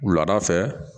Wulada fɛ